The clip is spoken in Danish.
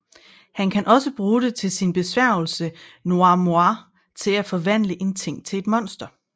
Han kan også bruge det til sin besværgelse Noir Miroir til at forvandle en ting til et monster